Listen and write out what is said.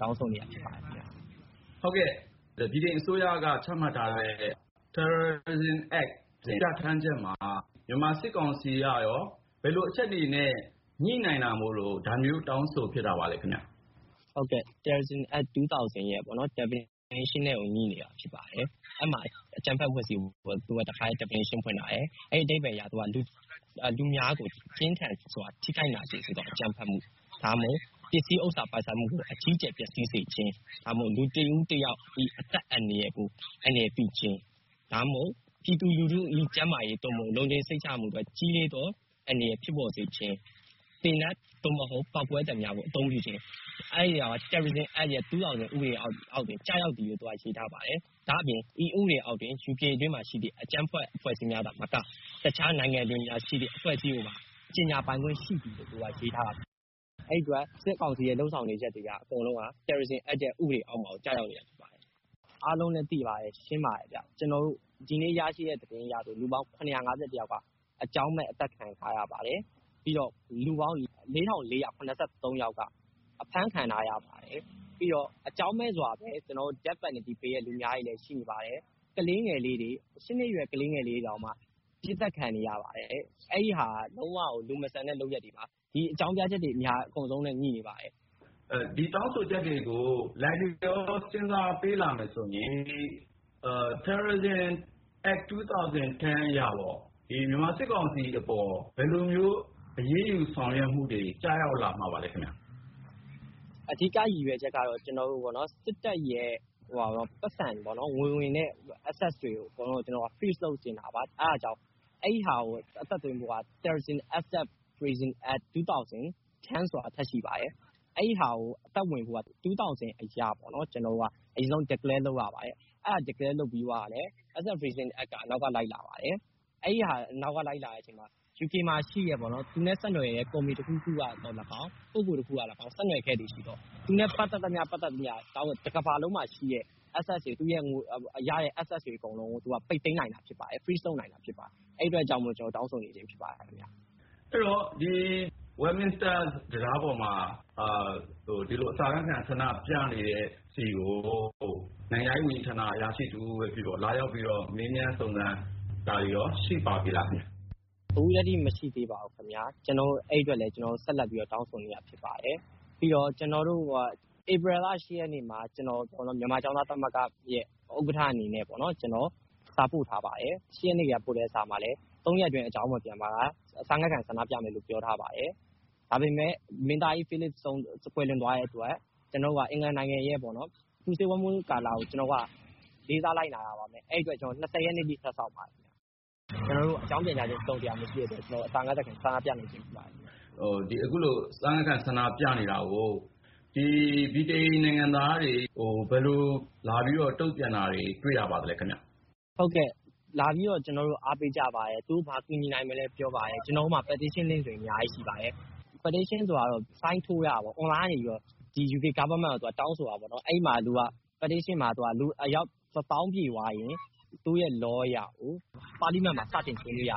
တောင်းဆိုနေတာ ဖြစ်ပါတယ်။ ကိုဉာဏ်ဝင်းအောင် ။ ။ဟုတ်ကဲ့ ၊ ဗြိတိန်အစိုးရက ချမှတ်ထားတဲ့ Terrorism Actပြဌာန်းချက်ထဲမှာ မြန်မာစစ်ကောင်စီက ဘယ်လိုအချက်တွေနဲ့ ညိနေတာမို့လို့ ဒါမျိုး တောင်းဆိုနေရ တာပါလဲ။ ကိုကျော်မင်းဟန် ။ ။Terrorism Act 2000 ရဲ့ အဓိပ္ပါယ် ဖွင့်ဆိုချက်နဲ့ကို ညိ နေတာ ဖြစ်ပါတယ်။ အဲဒီ ဥပဒေမှာ အကြမ်းဖက်အဖွဲ့အစည်းဆိုတာကို သူက ဘယ်လို ဖွင့်ဆိုထားသလဲ ဆိုတော့ - လူအများကို ပြင်းထန်စွာ ထိခိုက်နာကျင်စေသော အကြမ်းဖက်မှု၊ ဒါမှမဟုတ် ပစ္စည်းဥစ္စာ ပိုင်ဆိုင်မှုကို အကြီးအကျယ် ပျက်စီးစေခြင်း ၊ ဒါမှမဟုတ် လူတဦးတယောက်၏ အသက်ကို အန္တရာယ်ပြုခြင်း ၊ ပြည်သူလူထု၏ ကျန်းမာရေး သို့မဟုတ် လုံခြုံစိတ်ချရမှုအတွက် ကြီးလေးသောအန္တရာယ် ဖြစ်ပေါ်စေခြင်း ၊ သေနတ် သို့မဟုတ် ပေါက်ကွဲစက်များကို အသုံးပြုခြင်း... အဲဒါတွေကို လုပ်ဆောင်ခဲ့သော် Terrorism Act ရဲ့ ဥပဒေအောက်တွင် ကျရောက်သည်လို့ သူက ရေးထားတယ်။ ဒါ့အပြင် ဤဥပဒေအောက်တွင် ယူကေနိုင်ငံအတွင်းရှိ အကြမ်းဖက် အဖွဲ့အစည်းများသာမက အခြားနိုင်ငံတွေမှာရှိတဲ့ အဖွဲ့အစည်းများကိုပါ ကြေညာပိုင်ခွင့် ရှိသည်လို့ သူက ပြဌာန်းထားပါတယ်ခင်ဗျ။ အဲဒီအတွက် စစ်ကောင်စီရဲ့ လုပ်ရပ်တွေဟာ Terrorism Act ရဲ့ ဥပဒေအောက်မှာ ကျရောက်နေတာ ဖြစ်ပါတယ်။ အားလုံးလည်း သိကြပါတယ် ကျနော်တို့ ဒီနေ့ရရှိတဲ့ သတင်းအရဆိုရင် အာဏာသိမ်းပြီးချိန်ကနေ ဒီကနေ့ထိ လူပေါင်း ယောက်က အကြောင်းမဲ့ အသတ်ခံထားရပါတယ်။ ပြီးတော့ လူပေါင်း ကျော်က အဖမ်းခံခဲ့ရပါတယ်။ ပြီးတော့ အကြောင်းမဲ့ သေဒဏ်ပေးထားသူတွေလည်း ရှိနေပါတယ်။ ၈ နှစ်အရွယ် ကလေးငယ်လေးတွေတောင်မှ အပစ်သတ် ခံနေရပါတယ်။ အဲဒီဟာတွေက လုံးဝကို လူမဆန်တဲ့ လုပ်ရပ်တွေပါ ။ ဒီအကြောင်းပြချက်တွေ အကုန်လုံးနဲ့ ညိ နေပါတယ်။ ကိုဉာဏ်ဝင်းအောင် ။ ။ အခုလို အစာငတ်ခံ တောင်းဆိုချက်တွေကို စဉ်းစား လိုက်လျောပေးလာမယ်ဆိုရင် Terrorism Act အရပေါ့.. မြန်မာစစ်ကောင်စီအပေါ် ဘယ်လိုမျိုး အရေးယူမှုတွေ ကျရောက်လာမှာပါလဲ ခင်ဗျ။ ကိုကျော်မင်းဟန် ။ ။အဓိက ကတော့ စစ်တပ်ရဲ့ ပိုက်ဆံတွေပေါ့နော်၊ ဘဏ်စာရင်းနဲ့ ဝင်ငွေလမ်းကြောင်း access တွေကို ထိန်းချုပ်နိုင်ဖို့ ကျနော်တို့က လိုလားနေတာပါ။ အဲဒီလိုဖြစ်ဖို့ဆိုရင် Terrorism Access Freezing Act 2010 ဆိုတာ ထပ်ရှိပါတယ်။ အဲဒီဟာကို အသက်ဝင်ဖို့ဆိုရင် Terrorism Act 2000 အရ အရင်ဆုံး အကြမ်းဖက်အဖွဲ့အစည်း ဖြစ်ကြောင်း သတ်မှတ်ကြေညာပေးရပါတယ်။ အဲဒီလို Declare လုပ်ပြီးမှ Access Freezing Act က နောက်က လိုက်လာပါတယ်။ အဲဒီလို နောက်က လိုက်လာပြီးတဲ့အခါကျမှ 'ယူကေ'မှာရှိတဲ့ သူနဲ့ဆက်နွှယ်တဲ့ ကုမ္ပဏီတခုခုကသော် လည်းကောင်း ၊ ပုဂ္ဂိုလ် တဦးဦးကသော်လည်းကောင်း ဆက်နွှယ်မှုရှိခဲ့သော်.. သူနဲ့ ပတ်သက်တာ မှန်သမျှ တကမ္ဘာလုံးမှာရှိတဲ့ သူ့ရဲ့ ငွေဝင်လမ်းတွေ Access တွေအကုန်လုံးကို ပိတ်သိမ်းနိုင်မှာ ဖြစ်ပါတယ်။ Freeze လုပ်နိုင်တာ ဖြစ်ပါတယ်။အဲဒီအတွက်ကြောင့်မို့လို့ ကျနော်တို့ တောင်းဆိုနေခြင်း ဖြစ်ပါတယ်။ ကိုဉာဏ်ဝင်းအောင် ။ ။ အဲဒီတော့ Westminister တံတားပေါ်မှာ ခုလို အစာငတ်ခံ ဆန္ဒပြနေတဲ့ ကိုကျော်မင်းဟန်တို့ဆီကို ဗြိတိန်နိုင်ငံခြားရေး ဝန်ကြီးဌာနက အရာရှိတဦးဦးပဲ ဖြစ်ဖြစ်ပေါ့ လာရောက်ပြီးတော့ မေးမြန်းစုံစမ်းတာတွေရော ရှိပါပြီလားခင်ဗျ။ ကိုကျော်မင်းဟန် ။ ။အခုထက်ထိတော့ မရှိသေးပါဘူးခင်ဗျာ။ အဲဒီအတွက် ကျနော်တို့ ဆက်လက်ပြီးတော့ တောင်းဆိုနေတာ ဖြစ်ပါတယ်။ ပြီးတော့ ဧပြီလ ရက်နေ့မှာ မြန်မာကျောင်းသားများ သမဂ္ဂအနေနဲ့ စာပို့ခဲ့ပါတယ်။ အဲဒီစာထဲမှာလည်း ၃ ရက်အတွင်း အကြောင်းမပြန်ပါက အစာငတ်ခံ ဆန္ဒပြမယ်လို့ ပြောထားပြီးသား ဖြစ်ပါတယ်။ ဒါပေမယ့် ဗြိတိန်နန်းတော်မှာ မင်းသားကြီး ဖိလစ် ကွယ်လွန်သွားတဲ့အတွက် အင်္ဂလန်နိုင်ငံရဲ့ ပူဆွေးဝမ်းနည်းတဲ့ကာလကို လေးစားလိုက်နာတဲ့အနေနဲ့ ကျနော်တို့ ရက်နေ့အထိ ထပ်စောင့်ခဲ့ပါတယ်။ အဲလိုနဲ့ အကြောင်းတစုံတရာ ပြန်ကြားခြင်း မရှိတဲ့အတွက် ဧပြီ မနက် နာရီကစပြီး ကျနော်တို့ ဒီတံတားပေါ်မှာ အစာငတ်ခံ ဆန္ဒပြနေခြင်း ဖြစ်ပါတယ်ခင်ဗျ။ ကိုဉာဏ်ဝင်းအောင် ။ ။ အခုလို အစာငတ်ခံ ဆန္ဒပြနေတာကို ဗြိတိန်နိုင်ငံသားတွေက ဘယ်လိုမျိုး တုန့်ပြန်တာတွေ တွေ့ရပါသလဲဗျ။ ကိုကျော်မင်းဟန် ။ ။ဟုတ်ကဲ့ လာရောက်ပြီး အားပေးကြပါတယ်။ သူတို့ ဘာတွေကူညီနိုင်မလဲလို့ မေးကြပါတယ်။ ကျနော်တို့မှာလည်း petition link တွေ အများကြီးရှိပါတယ်။ petition ကတော့ ဒီယူကေ အစိုးရကို အွန်လိုင်းကနေ တရားဝင်တောင်းဆိုတာပေါ့ ။ အဲဒီ petition မှာ လူအယောက် လက်မှတ်ပြည့်သွားရင် သူတို့ဥပဒေသတ်မှတ်ချက်အရ ဒီတောင်းဆိုချက်ကို ပါလီမန်မှာ စတင်ဆွေးနွေးပေးရ